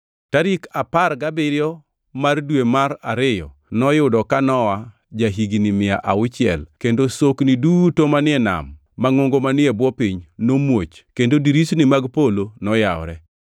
Tarik apar gabiriyo mar dwe mar ariyo noyudo ka Nowa ja-higni mia auchiel kendo sokni duto manie nam mangʼongo manie bwo piny nomuoch kendo dirisni mag polo noyawore.